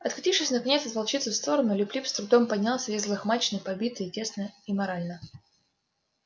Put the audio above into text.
откатившись наконец из волчицы в сторону лип лип с трудом поднялся весь взлохмаченный побитый и тесно и морально